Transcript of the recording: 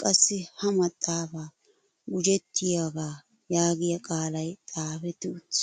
qassi ha maxaafa gujettiyoogaa yaagiya qaalay xaafwtti uttis.